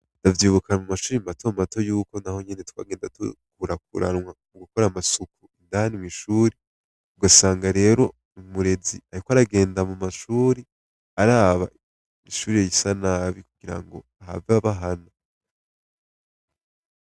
Davyiubukana mu mashuri matomato yuko na ho nyene twagenda tukurakuranwa mu gukora amasuku indani mw'ishuri ugasanga rero mumurezi, ariko aragenda mu mashuri araba ishuri risa nabi kugira ngo have aba hana.